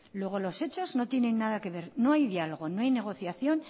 luego los hechos no tienen nada que ver no hay diálogo no hay negociación